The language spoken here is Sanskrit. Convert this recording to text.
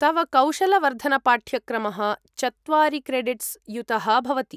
तव कौशलवर्धनपाठ्यक्रमः चत्वारि क्रेडिट्स्युतः भवति।